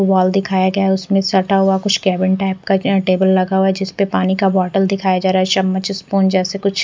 wall दिखाया गया उसमें सटा हुआ कुछ केबिन टाइप का क्या टेबल लगा हुआ जिसपे पानी का बोतल दिखाई जा रहा है चम्मच स्पून जैसे कुछ--